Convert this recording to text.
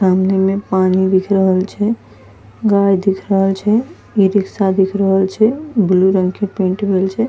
सामने मे पानी दिख रहल छे गाय दिख रहल छे ई-रिक्शा दिख रहल छे ब्लू रंग के पेंट भइल छे।